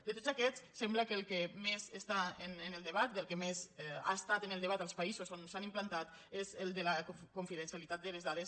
de tots aquests sembla que el que més està en el debat el que més ha estat en el debat als països on s’ha implantat és el de la confidencialitat de les dades